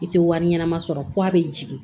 I tɛ wari ɲɛnama sɔrɔ ko a bɛ jigin